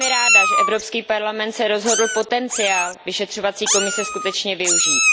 Jsem velmi ráda, že Evropský parlament se rozhodl potenciál vyšetřovacího výboru skutečně využít.